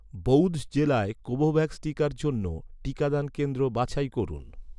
বউধ জেলায় কোভোভ্যাক্স টিকার জন্য, টিকাদান কেন্দ্র বাছাই করুন